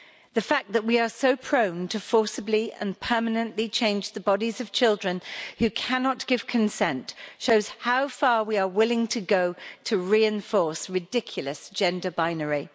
The fact that we are so prone forcibly and permanently to change the bodies of children who cannot give consent shows how far we are willing to go to reinforce ridiculous gender binary.